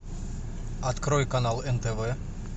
открой канал нтв